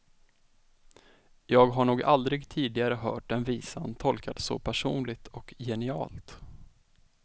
Jag har nog aldrig tidigare hört den visan tolkad så personligt och genialt.